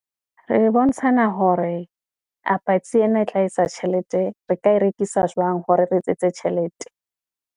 Re bontshana hore a patsi ena e tla etsa tjhelete, re ka e rekisa jwang hore re etsetse tjhelete.